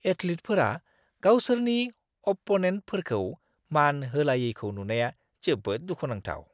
एथलीटफोरा गावसोरनि अप्प'नेन्टफोरखौ मान होलायैखौ नुनाया जोबोद दुखुनांथाव।